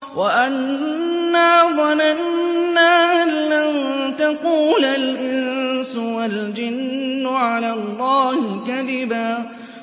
وَأَنَّا ظَنَنَّا أَن لَّن تَقُولَ الْإِنسُ وَالْجِنُّ عَلَى اللَّهِ كَذِبًا